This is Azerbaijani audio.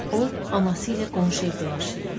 O, anası ilə qonşu evdə yaşayırdı.